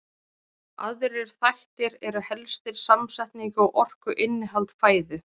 aðrir þættir eru helstir samsetning og orkuinnihald fæðu